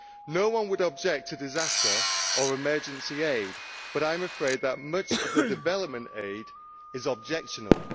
No one would object to disaster or emergency aid, but I am afraid that much development aid is objectionable.